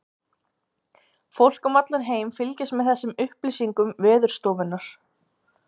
Fólk um allan heim fylgist með þessum upplýsingasíðum Veðurstofunnar.